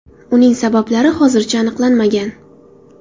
Uning sabablari hozircha aniqlanmagan.